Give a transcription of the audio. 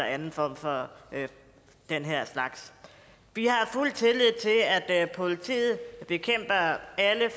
anden form for den slags vi har fuld tillid til at at politiet bekæmper alle